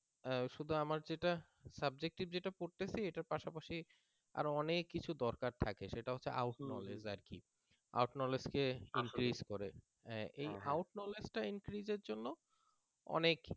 শুধু আমার যেটা subjective যেটা পড়তেছি এটার পাশাপাশি আরো অনেক কিছুর দরকার থাকে out knowledge out knowledge কে increase করে out knowledge টা increase এর জন্য